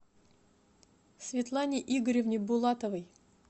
светлане игоревне булатовой